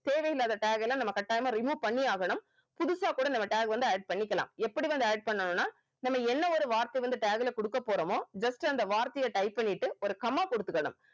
தேவையில்லாத tag எல்லாம் நம்ம கட்டாயமா remove பண்ணியே ஆகணும் புதுசா கூட நம்ம tag வந்து add பண்ணிக்கலாம் எப்படி வந்து add பண்ணனும்னா நம்ம என்ன ஒரு வார்த்தை வந்து tag ல குடுக்கப் போறோமோ just அந்த வார்த்தைய type பண்ணிட்டு ஒரு comma குடுத்துக்கணும்